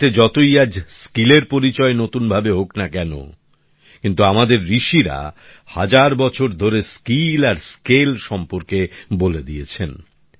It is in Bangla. পৃথিবীতে যতই দক্ষতার পরিচয় আজ নতুনভাবে হোক না কেন কিন্তু আমাদের ঋষিরা হাজার বছর ধরে স্কিল আর স্কেল সম্পর্কে বলে দিয়েছেন